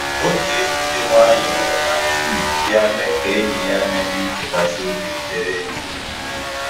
O ji egwu dị nwayọọ na tii bịa mee ka enyi ya na-enwe nchekasị obi dere jụụ